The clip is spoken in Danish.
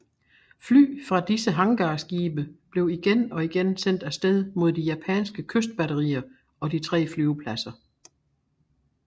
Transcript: Fly fra disse hangarskibe blev igen og igen sendt af sted mod de japanske kystbatterier og de tre flyvepladser